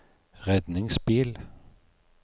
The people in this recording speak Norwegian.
redningsbil